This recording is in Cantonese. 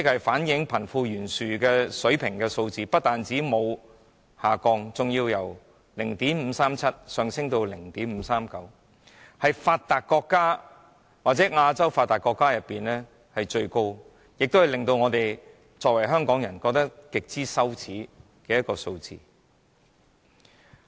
反映貧富懸殊水平的堅尼系數不但沒有下降，反而由 0.537 上升至 0.539， 是發達國家或亞洲發達國中最高的，而這亦是香港人感到極為羞耻的數字。